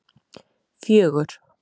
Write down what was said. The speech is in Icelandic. fjögur